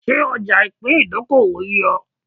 Ṣé ọja ipin ìdókòwò yé o?